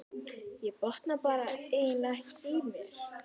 Ég botna eiginlega ekkert í mér.